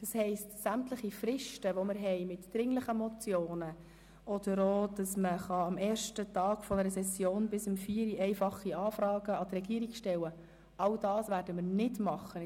Das bedeutet, dass sämtliche Fristen, die für dringliche Motionen oder sämtliche Anfragen gelten und die man am ersten Tag der Session bis 16.00 Uhr zuhanden der Regierung stellen kann, für die Januarsession nicht gelten.